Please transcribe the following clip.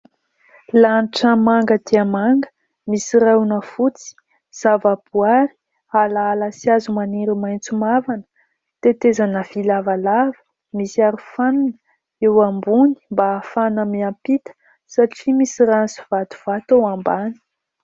Lanitra manga dia manga, misy rahona fotsy, zava-boaary, alaala sy hazo maniry maitso mavana, tetezana vy lavalava misy arofanina eo ambony mba ahafahana miampita satria misy rano sy vatovato ao ambany.